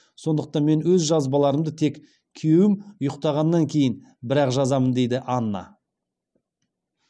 сондықтан мен өз жазбаларымды тек күйеуім ұйықтағаннан кейін бірақ жазамын дейді анна